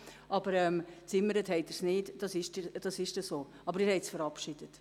Aber gezimmert haben Sie es nicht, aber Sie haben es verabschiedet.